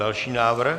Další návrh.